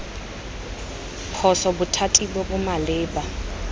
phoso bothati bo bo maleba